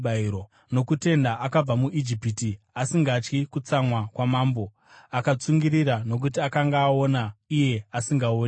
Nokutenda akabva muIjipiti asingatyi kutsamwa kwamambo; akatsungirira nokuti akanga aona iye asingaonekwi.